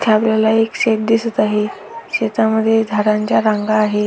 इथे आपल्याला एक शेत दिसत आहे शेतामध्ये झाडांच्या रांग आहेत.